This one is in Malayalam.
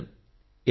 നമസ്കാരം